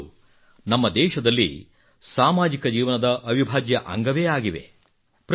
ಹಬ್ಬಗಳು ನಮ್ಮ ದೇಶದಲ್ಲಿ ಸಾಮಾಜಿಕ ಜೀವನದ ಅವಿಭಾಜ್ಯ ಅಂಗವೇ ಆಗಿದೆ